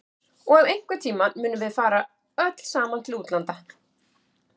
Og að einhvern tíma munum við fara öll saman til útlanda.